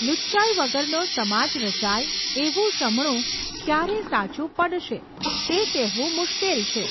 લુચ્ચાઈ વગરનો સમાજ રચાય, એવું શમણું ક્યારે સાચું પડશે, તે કહેવું મુશ્કેલ છે.